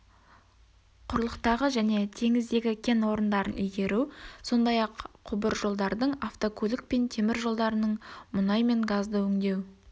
құрлықтағы және теңіздегі кен орындарын игеру сондай-ақ құбыржолдардың автокөлік пен темір жолдарының мұнай мен газды өңдеу